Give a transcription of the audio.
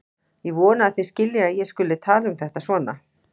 Ég vona að þið skiljið að ég skuli tala um þetta svona.